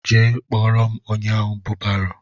Jee kpọrọ m ónyé ahụ bụ barô!!